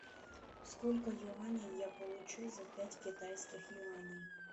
сколько юаней я получу за пять китайских юаней